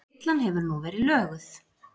Villan hefur nú verið löguð